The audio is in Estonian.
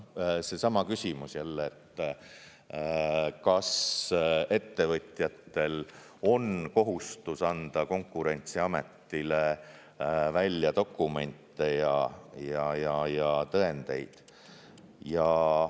Seesama küsimus jälle, kas ettevõtjatel on kohustus anda Konkurentsiametile välja dokumente ja tõendeid.